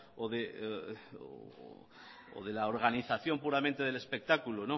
o de la organización puramente del espectáculo